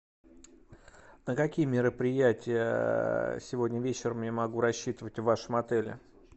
на какие мероприятия сегодня вечером я могу рассчитывать в вашем отеле